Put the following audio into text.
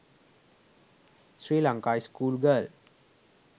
sri lanka school girl